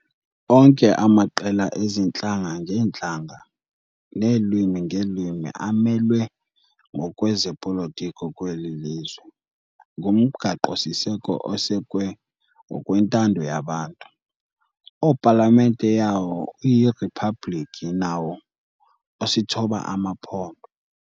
Onke amaqela ezi ntlanga-ngeentlanga neelwimi-ngeelwimi amelwe ngokwezopolitiko kweli lizwe, kumgaqo siseko osekwe ngokwentando yabantu, opalamente yawo uyiRhiphablikhi, nawo osithoba amaphondo.